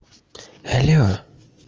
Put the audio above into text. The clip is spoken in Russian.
алло